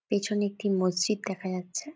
পেছনে একটি মসজিদ দেখা যাচ্ছে।